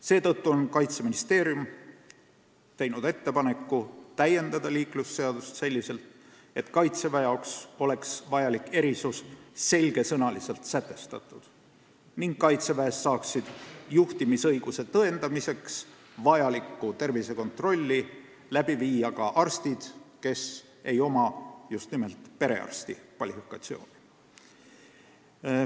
Seetõttu on Kaitseministeerium teinud ettepaneku täiendada liiklusseadust selliselt, et Kaitseväe jaoks vajalik erisus oleks selge sõnaga sätestatud ning Kaitseväes saaksid juhtimisõiguse tõendamiseks vajalikku tervisekontrolli teha ka arstid, kel ei ole just nimelt perearsti kvalifikatsiooni.